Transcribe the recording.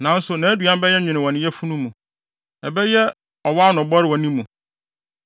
nanso, nʼaduan bɛyɛ nwen wɔ ne yafunu mu; ɛbɛyɛ ɔwɔ ano bɔre wɔ ne mu.